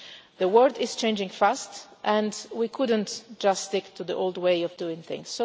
The world is changing fast and we couldn't just stick to the old way of doing things.